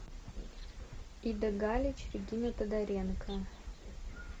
ида галич регина тодоренко